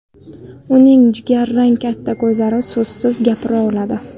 Uning jigarrang katta ko‘zlari so‘zsiz ham gapira oladi.